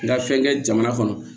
N ka fɛn kɛ jamana kɔnɔ